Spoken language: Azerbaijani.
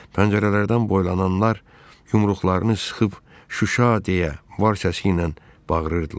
Pəncərələrdən boylananlar yumruqlarını sıxıb “Şuşa” deyə var səsiylə bağırırdılar.